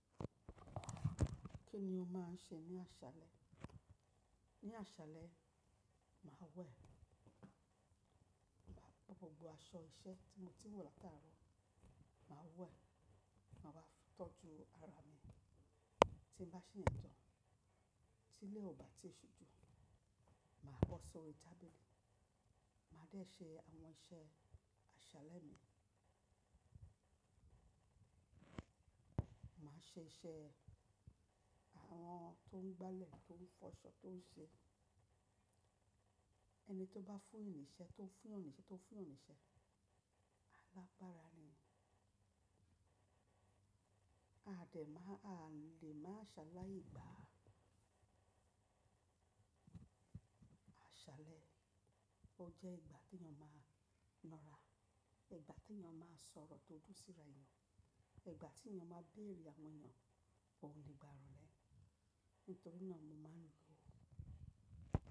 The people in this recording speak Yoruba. Kí ni o máa ń ṣe ní àṣálẹ́? Ní àṣálẹ́, màá wẹ̀. Màá bọ́ gbogbo aṣọ iṣẹ́ tí mo ti wọ̀ látàárọ̀, màá wẹ̀, màá wá tọ́jú ara mi. Tí bá ṣe yẹn tán, tí ilé ò bá ti ṣujú, màá bọ́ sórí tábìlì, màá dẹ ṣe àwọn iṣẹ́ àṣálẹ́ mi. Màá ṣe iṣẹ́ àwọn tó ń gbálẹ̀, tó ń fọṣọ, tó ń ṣe ẹni tó bá fún yan ṣẹ́, tó ń fún yan níṣẹ́, tó ń fún yan níṣẹ́. Alágbára ni. A lè máa ṣaláì gba. Àṣálẹ́, ó jẹ́ ìgbà tí èèyàn máa ń lọ́ra, ìgbà tí èèyàn máa ń sọ̀rọ̀ tó dùn síra èèyàn, ìgbà tí èèyàn máa ń béèrè àwọn èèyàn, òun lè gba ìrọ́lẹ́. Nítorí náà mo máa ń lò ó.